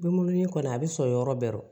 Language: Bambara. Denkunin kɔni a bɛ sɔrɔ yɔrɔ bɛɛ rɔ